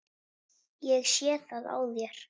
Ég sé það á þér.